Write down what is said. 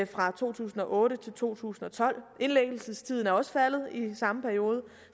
fra to tusind og otte til to tusind og tolv indlæggelsestiden er også faldet i den samme periode